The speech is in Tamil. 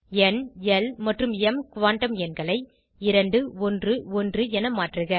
ந் ல் மற்றும் ம் குவாண்டம் எண்களை 2 1 1 என மாற்றுக